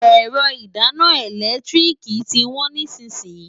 Ẹ̀rọ ìdáná ẹ̀lẹ́tíríìkì tí wọ́n nísìnyín.